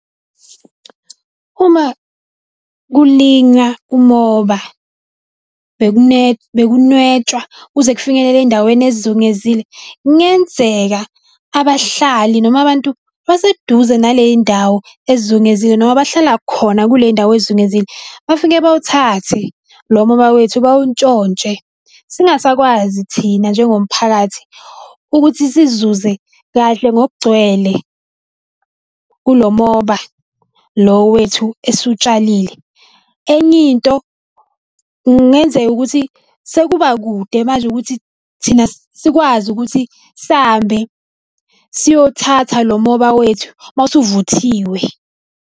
Uma kulinywa umoba bekunwetshwa kuze kufinyelele ezindaweni ezizungezile, kungenzeka abahlali noma abantu abaseduze naley'ndawo ezizungezile noma abahlala khona kuley'ndawo ezizungezile bafike bawuthathe lo moba wethu bawuntshontshe. Singasakwazi thina njengomphakathi ukuthi sizuze kahle ngokugcwele kulo moba lo wethu esiwutshalile. Enye into, kungenzeka ukuthi sekuba kude manje ukuthi thina sikwazi ukuthi sambe siyothatha lo moba wethu mase uvuthiwe.